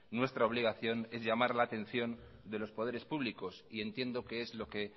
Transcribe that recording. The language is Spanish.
nuestra obligación es llamar la atención de los poderes públicos y entiendo que es lo que